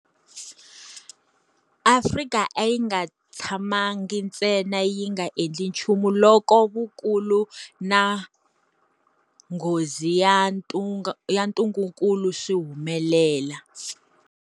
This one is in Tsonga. Afrika a yi nga tshamangi ntsena yi nga endli nchumu loko vukulu na nghozi ya ntungukulu swi humelela.